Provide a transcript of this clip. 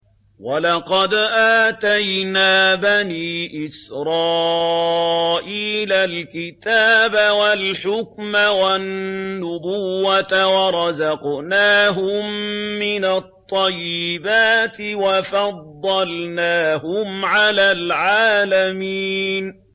وَلَقَدْ آتَيْنَا بَنِي إِسْرَائِيلَ الْكِتَابَ وَالْحُكْمَ وَالنُّبُوَّةَ وَرَزَقْنَاهُم مِّنَ الطَّيِّبَاتِ وَفَضَّلْنَاهُمْ عَلَى الْعَالَمِينَ